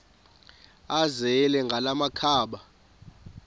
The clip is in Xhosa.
azele ngala makhaba